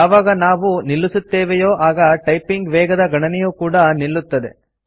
ಯಾವಾಗ ನಾವು ನಿಲ್ಲಿಸುತ್ತೇವೆಯೋ ಆಗ ಟೈಪಿಂಗ್ ವೇಗದ ಗಣನೆಯೂ ಕೂಡಾ ನಿಲ್ಲುತ್ತದೆ